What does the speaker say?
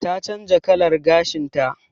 Ta canza kalar gashin ta.